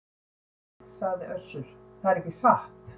Nei, sagði Össur, það er ekki satt.